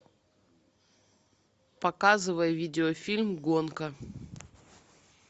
показывай видеофильм гонка